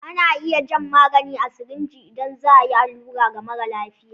Ana jan magani a sirinji idan za a yi allura ga mara lafiya.